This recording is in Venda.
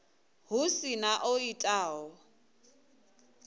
hu si na o itaho